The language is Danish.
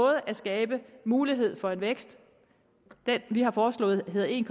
at skabe mulighed for en vækst vi har foreslået en